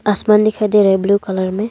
आसमान दिखाई दे रहा हैं ब्ल्यू कलर मे।